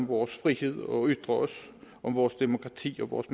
vores frihed og ytre os om vores demokrati og vores